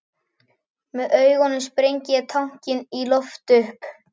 Með augunum sprengi ég tankinn í loft upp.